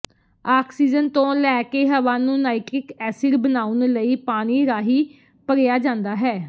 oxygen ਤੋਂ ਲੈਕੇ ਹਵਾ ਨੂੰ ਨਾਈਟ੍ਰਿਕ ਐਸਿਡ ਬਣਾਉਣ ਲਈ ਪਾਣੀ ਰਾਹੀਂ ਭਰਿਆ ਜਾਂਦਾ ਹੈ